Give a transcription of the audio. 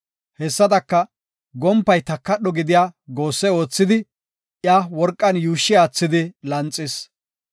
Hessadaka, gompay takadho gidiya goosse oothidi, iya worqan yuushshi aathidi lanxis.